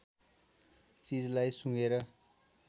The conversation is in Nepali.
चिजलाई सुँघेर